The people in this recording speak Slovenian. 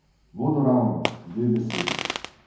Vodoravno, dve besedi.